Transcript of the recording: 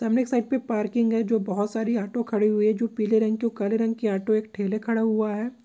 यह साइड में पार्किंग है जो बहुत सारी ऑटो खड़ी है जो काले रंग की ऑटो है। और एक ठेला खड़ा हुआ है।